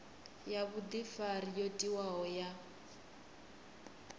ya vhudifari yo tiwaho ya